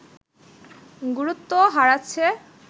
গুরুত্ব হারাচ্ছে